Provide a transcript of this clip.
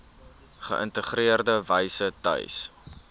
geïntegreerde wyse tuis